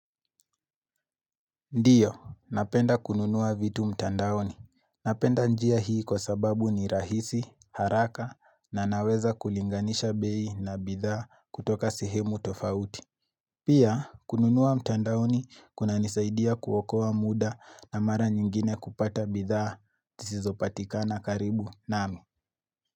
Ndio, napenda kununua vitu mtandaoni. Napenda njia hii kwa sababu ni rahisi, haraka na naweza kulinganisha bei na bidhaa kutoka sehemu tofauti. Pia, kununua mtandaoni kunanisaidia kuokowa muda na mara nyingine kupata bidhaa zosizopatikana karibu nami.